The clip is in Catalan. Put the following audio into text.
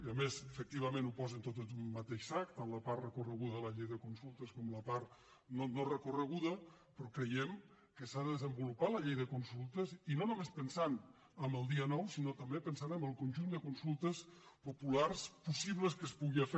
a més efectivament ho posen tot en un mateix sac tant la part recorreguda de la llei de consultes com la part no recorreguda però creiem que s’ha de desenvo·lupar la llei de consultes i no només pensant en el dia nou sinó també pensant en el conjunt de consultes popu·lars possibles que es puguin fer